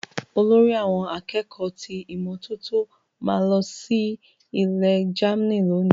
Olórí àwọn akẹ́kọ̀ọ́ ti ìmọ́tótó ma lọ sí ilẹ Germany loni.